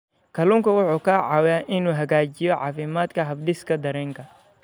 Kalluunku wuxuu caawiyaa inuu hagaajiyo caafimaadka habdhiska dareenka.